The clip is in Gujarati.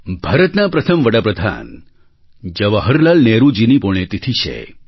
ભારતના પ્રથમ વડા પ્રધાન જવાહરલાલ નહેરુજીની પુણ્યતિથિ છે